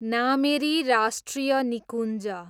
नामेरी राष्ट्रिय निकुञ्ज